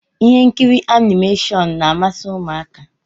Ihe nkiri animashọnu n'ámási ụmụaka